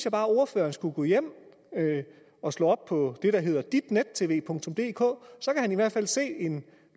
at ordføreren skulle gå hjem og slå op på det der hedder ditnettvdk så kan han i hvert fald se en